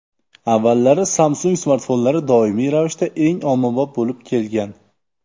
Avvallari Samsung smartfonlari doimiy ravishda eng ommabop bo‘lib kelgan.